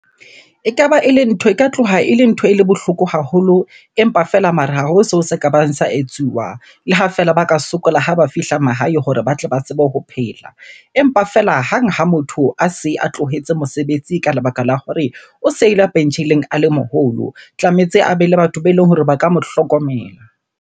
Ekaba ele ntho, e ka tloha ele ntho ele bohloko haholo. Empa feela mara ha ho seo se ka bang sa etsuwa. Le ha feela ba ka sokola ha ba fihla mahae hore ba tle ba tsebe ho phela. Empa feela hang ha motho a se a tlohetse mosebetsi ka lebaka la hore o sa ile pensheneng a le moholo. Tlametse a be le batho beleng hore ba ka mo hlokomela.